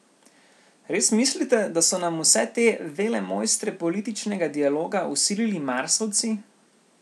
Res mislite, da so nam vse te velemojstre političnega dialoga vsilili Marsovci?